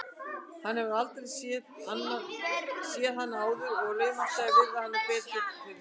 Hann hefur aldrei séð hana áður og laumast til að virða hana betur fyrir sér.